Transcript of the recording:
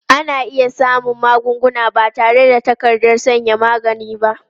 Ana iya siyan magunguna ba tare da takardar sayan magani ba.